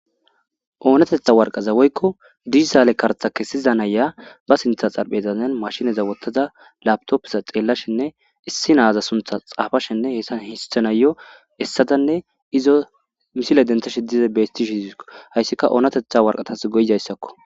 Oonatheththa warqqaza woykko digitale karththa kessiza nayiya ba siththan xaraphezan maashinetha woththada lapththooppetha xellashenne issi naaza sunththa tsaafashenne hesan hisththanayyoo essadanne izo misile danththashe dize beeththishe dizeessikko; hayssika oonatheththa waraqathes go7izayssekko.